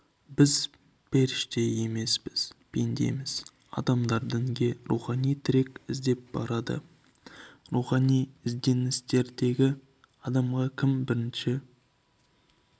біз періште емеспіз пендеміз адамдар дінге рухани тірек іздеп барады рухани ізденістегі адамға кім бірінші